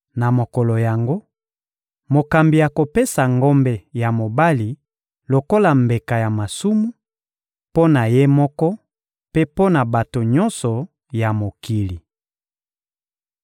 Na mokolo yango, mokambi akopesa ngombe ya mobali lokola mbeka ya masumu mpo na ye moko mpe mpo na bato nyonso ya mokili.